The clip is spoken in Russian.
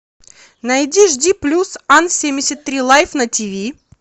найди жди плюс ан семьдесят три лайф на тв